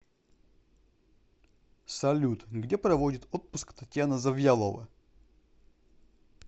салют где проводит отпуск татьяна завьялова